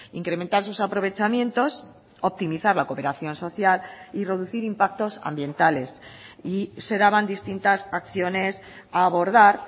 incrementar sus aprovechamientos optimizar la cooperación social y reducir impactos ambientales y se daban distintas acciones a abordar